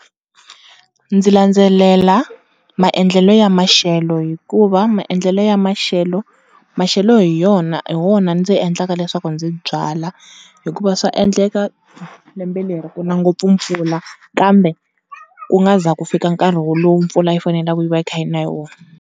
Ndzi landzelela maendlelo ya maxelo hikuva maendlelo ya maxelo, maxelo hi yona, hi wona ndzi endlaka leswaku ndzi byala. Hikuva swa endleka lembe leri ku na ngopfu mpfula kambe ku nga za ku fika nkarhi wo lowu mpfula yi faneleke yi va yi kha yi na hi wona.